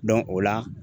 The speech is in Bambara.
o la